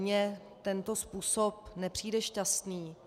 Mně tento způsob nepřijde šťastný.